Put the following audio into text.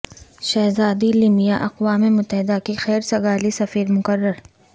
شہزادی لمیا اقوام متحدہ کی خیر سگالی سفیر مقرر